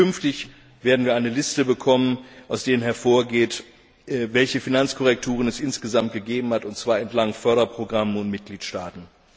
Und künftig werden wir eine Liste bekommen, aus der hervorgeht, welche Finanzkorrekturen es insgesamt gegeben hat, und zwar nach Förderprogramm und Mitgliedstaaten.